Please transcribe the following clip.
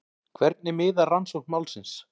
Hvernig miðar rannsókn málsins?